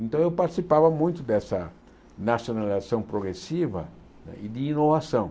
Então eu participava muito dessa nacionalização progressiva e de inovação.